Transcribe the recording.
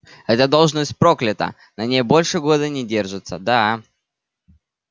эта должность проклята на ней больше года не держатся да